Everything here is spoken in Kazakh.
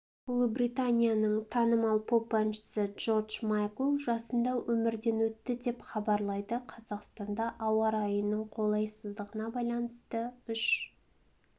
ұлыбританияның танымал поп-әншісі джордж майкл жасында өмірден өтті деп хабарлайды қазақстанда ауа райының қолайсыздығына байланысты үш